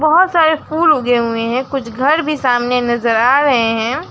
बहोत सारे फुल उगे हुए हैं कुछ घर भी सामने नजर आ रहे हैं।